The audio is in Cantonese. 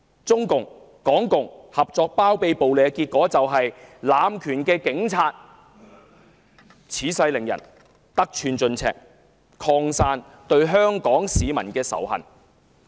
中共、港共聯手包庇暴力，結果令濫權的警察恃勢凌人，得寸進尺，警隊內仇恨香港市民的心態更趨普遍。